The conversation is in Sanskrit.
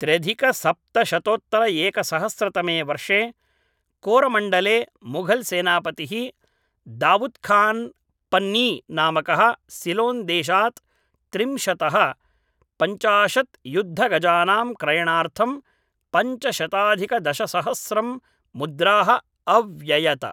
त्र्यधिकसप्तशतोत्तरएकसहस्रतमे वर्षे कोरमण्डले मुघलसेनापतिः दावुद् खान् पन्नी नामकः सिलोन् देशात् त्रिंशत्तः पञ्चाशत् युद्धगजानां क्रयणार्थं पञ्चशताधिकदशसहस्रं मुद्राः अव्ययत